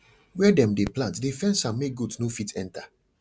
where dem dey plant dey fence am make goat no fit enter